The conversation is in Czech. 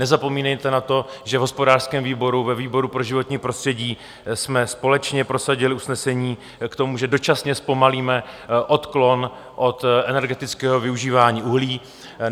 Nezapomínejte na to, že v hospodářském výboru, ve výboru pro životní prostředí jsme společně prosadili usnesení k tomu, že dočasně zpomalíme odklon od energetického využívání uhlí.